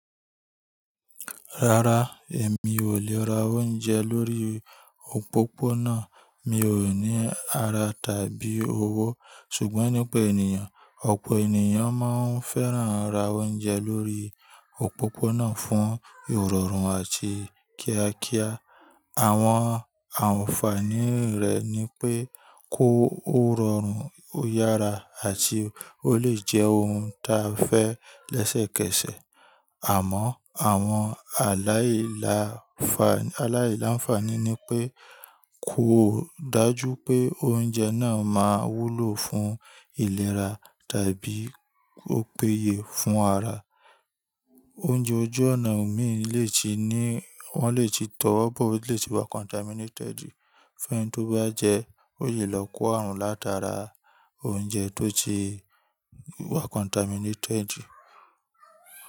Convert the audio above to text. Rárá, èmi ò lè ra oúnjẹ lórí òpópónà. Mi ò ní ara tàbí owó. Ṣùgbọ́n nípa ènìyàn, ọ̀pọ̀ ènìyàn máa ń fẹ́ràn ra oúnjẹ lórí òpópónà fún ìrọ̀rùn àti kíákíá. Àwọn ànfàní rẹ̀ ni pé ó rọrùn, ó yára àti ó lè jẹ́ ohun ta fẹ́ lẹ́sẹ̀kẹsẹ̀. Àmọ́, àwọn aláìláǹfàní ni pé, kó dájú pé oúnjẹ náà máa wúlò fún ìlera tàbí ó péye fún ara. Oúnjẹ ojú ọ̀nà mii, wọ́n lè ti tọwọ́ bọ̀, ó lè ti wa contaminated. Fẹ́ enii tó bá jẹ ẹ́, ó lè lọ kó àrùn látara oúnjẹ tó ti wa contaminated.